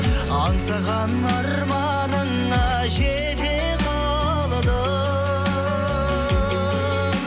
аңсаған арманыңа жете қалдың